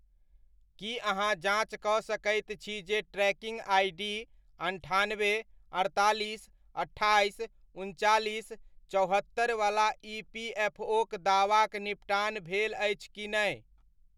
की अहाँ जाँच कऽ सकैत छी जे ट्रैकिङ्ग आइडी अन्ठानबे, अड़तालीस, अट्ठाइस, उनचालिस, चौहत्तरि वला ईपीएफओक दावाक निपटान भेल अछि कि नै?